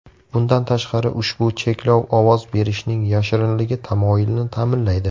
Bundan tashqari, ushbu cheklov ovoz berishning yashirinligi tamoyilini ta’minlaydi.